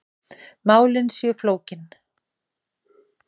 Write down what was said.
Málin séu flókin.